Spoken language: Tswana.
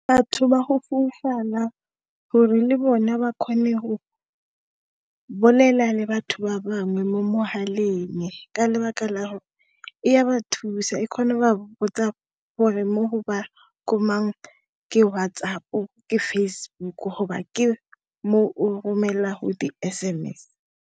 Batho ba go foufala gore le bona ba kgone go bolela le batho ba bangwe mo mogaleng, ka lebaka la gore e a ba thusa e kgone ba botsa gore ke WhatsApp, ke Facebook mo o romelang di S_M_S.